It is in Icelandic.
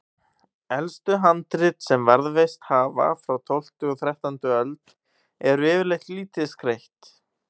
Elstu handrit sem varðveist hafa, frá tólftu og þrettándu öld, eru yfirleitt lítið skreytt.